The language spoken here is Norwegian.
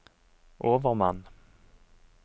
overmann